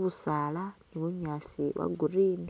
busaala ni bunyaasi bwa green